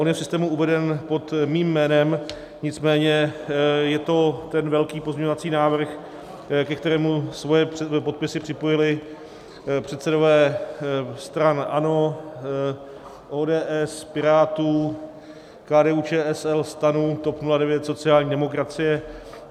On je v systému uveden pod mým jménem, nicméně je to ten velký pozměňovací návrh, ke kterému své podpisy připojili předsedové stran ANO, ODS, Pirátů, KDU-ČSL, STAN, TOP 09, sociální demokracie.